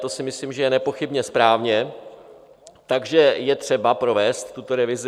To si myslím, že je nepochybně správně, takže je třeba provést tuto revizi.